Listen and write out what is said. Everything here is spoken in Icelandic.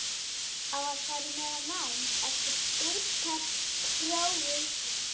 Á að fara í meira nám eftir stúdentsprófið?